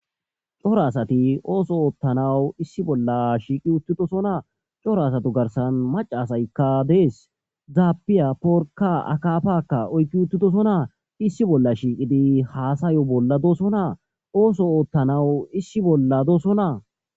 Coro asati ooso oottanawu issi bolla shiiqi uttidosonaa coro asato garsan macasaykka dees zaapiya porka akafakka oykki uttidosonaa issi bolla shiiqidi haasayo bolla doosonaa ooso oottanawu issi bolla doosonaa.